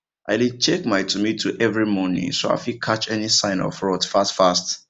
i dey check my tomato every morning so i fit catch any sign of rot fast fast